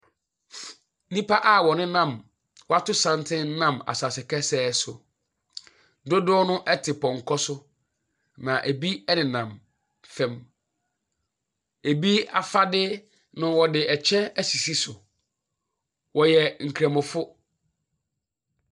Nnipa a wɔnenam woato santen nam asaase pɛsɛɛ so. Dodoɔ no ɛte pɔnkɔ so, na ebi ɛnenam fam. Ebi afade no ɔde ɛkyɛ esisi so. Wɔyɛ nkramofo.